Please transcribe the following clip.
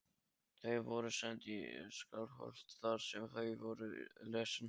Þau voru send í Skálholt þar sem þau voru lesin.